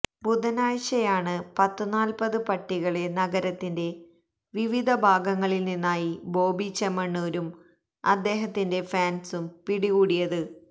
ബുധനാഴ്ചയാണ് പത്ത് നാല്പ്പത് പട്ടികളെ നഗരത്തിന്റെ വിവിധ ഭാഗങ്ങളില്നിന്നായി ബോബി ചെമ്മണൂരും അദ്ദേഹത്തിന്റെ ഫാന്സും പിടികൂടിയത്